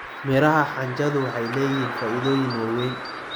Miraha xanjadu waxay leeyihiin faa'iidooyin waaweyn.